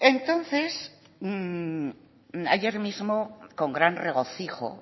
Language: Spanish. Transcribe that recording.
ayer mismo con gran regocijo